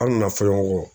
An nana fɔlɔlen ɲɔgɔn kɔ